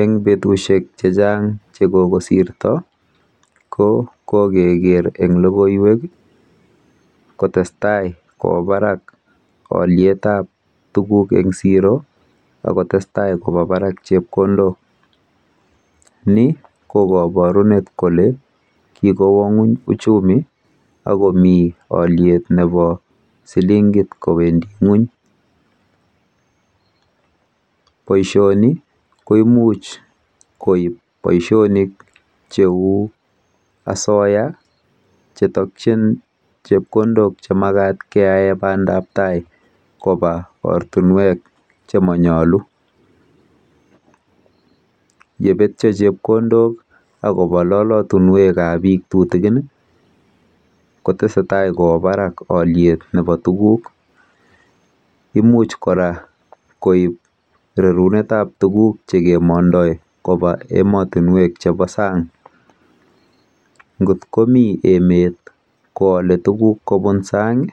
Eng betusiek chechang chekikosirto ko kokeker eng logoiwek kotestai kowo barak olyetab tuguk eng siro akotestai koba barak chepkondok. Ni ko kapurunet kole kikowo ng'ony uchumi okomi olyet nebo silingit kowendi ng'ony. Boisioni koimuch koib boisionik cheu asoya chetokchin chepkondok chemakat keyae bandabtai boisionik chemonyolu. Yebetyo chepkondok akoba lolotinwek chebo biik chetutikin kotesetai kwo barak olyet nebo tuguk. Imuch kora koib rerunetab tuguk chekemondoi koba emotinwek chebo sang. Ngot komi emet koole tuguk kobun sang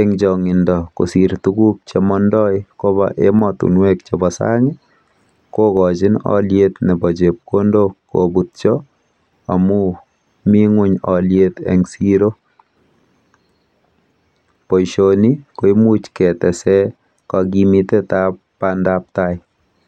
eng chong'indo kosiir tuguk chekimondoi koba emotinwek chebo sang kokochin olyet nebo chepkondok kobutyo amu mi ng'ony olyet eng siro. Boisioni koimuch ketese kakimitetab bandabtai